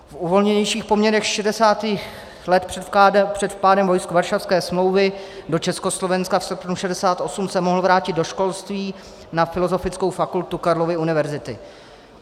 V uvolněnějších poměrech 60. let před vpádem vojsk Varšavské smlouvy do Československa v srpnu 1968 se mohl vrátit do školství na Filozofickou fakultu Karlovy univerzity.